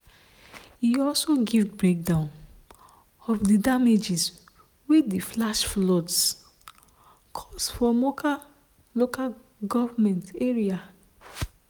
e also give breakdown of di damages wey di flash floods cause for mokwa local goment area.